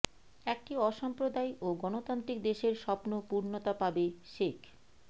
একটি অসাম্প্রদায়িক ও গণতান্ত্রিক দেশের স্বপ্ন পূর্ণতা পাবে শেখ